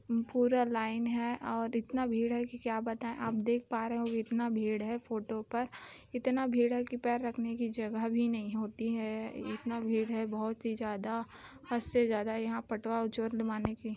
पूरा लाइन हैं और इतना भीड़ हैं की क्या बताए आप देख पा रहे हैं की इतना भीड़ हैं फोटो पर इतना भीड़ हैं की पैर रखने की जगह भी नहीं होती हैं इतना भीड़ हैं बहुत ही ज्यादा हद से ज्यादा